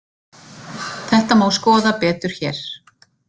Þetta má skoða betur hér.